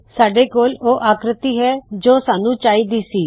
ਸਾਡੇ ਕੋਲ ਉਹ ਆਕ੍ਰਿਤੀ ਹੈ ਜੋ ਸਾਨੂੰ ਚਾਹਿ ਦੀ ਸੀ